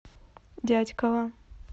дятьково